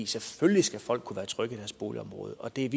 selvfølgelig skal folk kunne være trygge i deres boligområde og det